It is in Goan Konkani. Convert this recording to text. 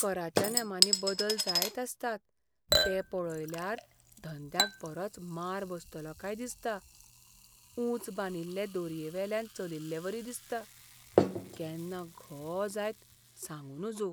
कराच्या नेमांनी बदल जायत आसतात ते पळयल्यार धंद्याक बरोच मार बसतलो काय दिसता. ऊंच बांदिल्ले दोरयेवेल्यान चलिल्लेवरी दिसता. केन्ना घो जायत सांगू नजो.